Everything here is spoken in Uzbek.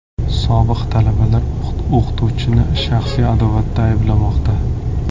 Sobiq talabalar o‘qituvchini shaxsiy adovatda ayblamoqda.